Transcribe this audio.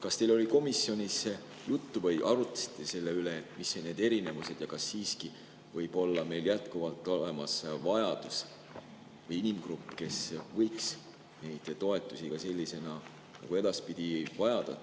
Kas teil oli komisjonis juttu või kas te arutasite selle üle, mis on need erinevused ja kas siiski võib meil jätkuvalt olla inimgrupp, kes võiks neid toetusi sellisena ka edaspidi vajada?